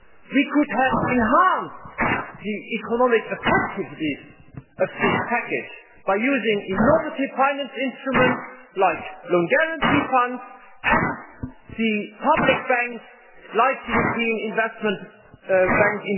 We could have enhanced the economic effectiveness of this package by using innovative finance instruments, like loan guarantee funds and the public banks, or the European Investment Bank.